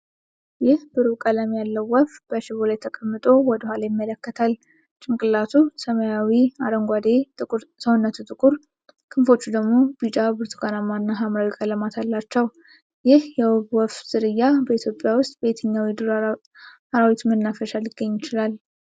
ይህ ብሩህ ቀለም ያለው ወፍ በሽቦ ላይ ተቀምጦ ወደ ኋላ ይመለከታል። ጭንቅላቱ ሰማያዊ-አረንጓዴ፣ ሰውነቱ ጥቁር፣ ክንፎቹ ደግሞ ቢጫ፣ ብርቱካናማ እና ሐምራዊ ቀለማት አላቸው። ይህ የውብ ወፍ ዝርያ በኢትዮጵያ ውስጥ በየትኞቹ የዱር አራዊት መናፈሻዎች ሊገኝ ይችላል?